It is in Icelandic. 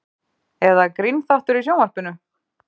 Eða grínþáttur í sjónvarpinu?